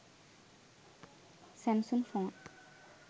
samsung phone